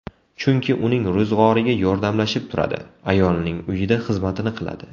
Chunki uning ro‘zg‘origa yordamlashib turadi, ayolning uyida xizmatini qiladi.